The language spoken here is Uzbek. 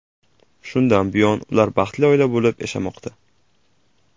Shundan buyon ular baxtli oila bo‘lib yashamoqda.